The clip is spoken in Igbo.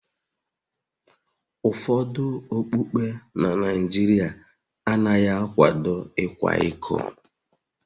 Ụfọdụ okpukpe na Nigeria anaghị akwado ịkwa iko